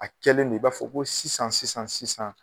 A kɛlen don i b'a fɔ ko sisan sisan sisan.